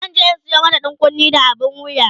zanje in Sayo mata ɗankunne da abun wuya